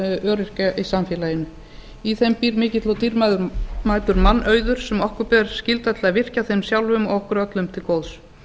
öryrkja í samfélaginu í þeim býr mikill og dýrmætur mannauður sem okkur ber skylda til að virkja þeim sjálfum og okkur öllum til góðs